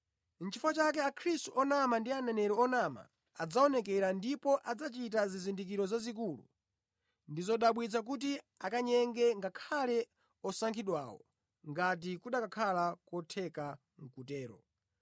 Chifukwa akhristu onama ndi aneneri onama adzaoneka ndipo adzachita zizindikiro zazikulu ndi zodabwitsa kuti akanyenge ngakhale osankhidwawo ngati kukanakhala kotheka kutero.